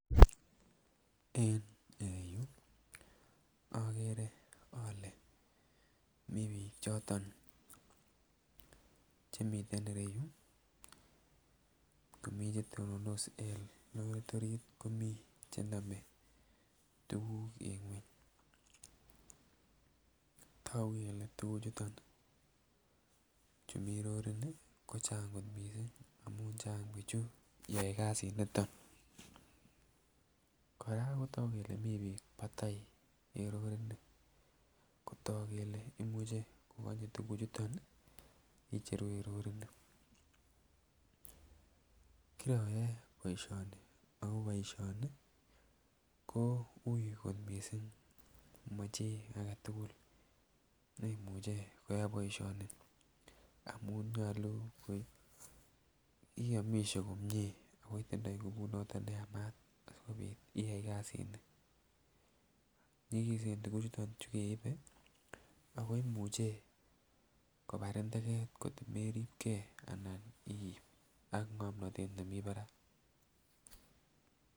En ireyuu okere ole mii bik choton chemiten ireyuu komii chetonondos lorit orit komii chenome tukuk en ngweny. Toku kole tukuk chuton chumii rorit nii ko Chang kot missing amun Chang bichu yoe kasit niton, Koraa kotoku kele mii bio patai en lorit nii kotoku kele imuche konye tukuk chuton nii kicheru en roritt nii. Kiroyoe boishoni ako boishoni ko ui kot missing amochii agetukul neimuche koyai boishoni amun nyolu iomishe komie ako itondo ngubut noton neyamat sikopit iyai kasini, nyikisen tukuk chuton chukeibe ako imuche kobarin teket kotko meribgee ana iib ak ngomnotet nemii barak.